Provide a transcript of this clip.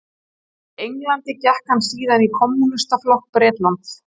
Í Englandi gekk hann síðan í Kommúnistaflokk Bretlands.